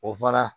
O fara